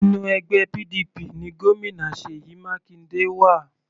Inú ẹgbẹ́ PDP ni Gómìnà Seyi Makinde wà.